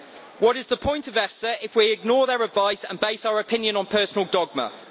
What is the point of EFSA if we ignore their advice and base our opinion on personal dogma?